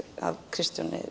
af